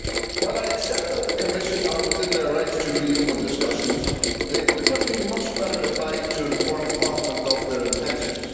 While I accept that the Commission services are within their rights to reopen discussions, they would have been much better advised to inform Parliament of their intentions.